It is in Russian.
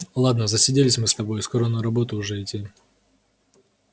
ладно засиделись мы с тобой скоро на работу уже идти